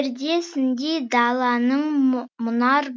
пердесіндей даланың мұнар